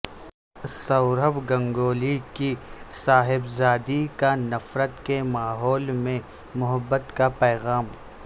سوربھ گنگولی کی صاحبزادی کا نفرت کے ماحول میں محبت کا پیغام